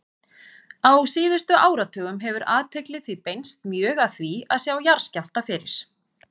Á síðustu áratugum hefur athygli því beinst mjög að því að sjá jarðskjálfta fyrir.